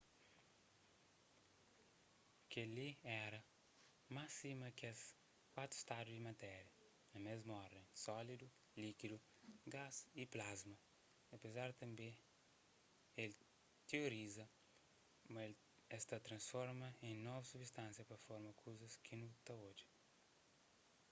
kel-li éra más sima kes kuatu stadu di matéria na mésmu orden: sólidu líkidu gás y plasma apezar tanbê el tioriza ma es ta transforma en novus subistánsia pa forma kuzas ki nu ta odja